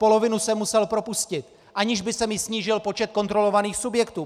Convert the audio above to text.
Polovinu jsem musel propustit, aniž by se mi snížil počet kontrolovaných subjektů.